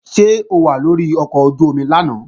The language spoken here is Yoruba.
Ṣé o wà lórí ọkọ̀ ojú-omi lánàá?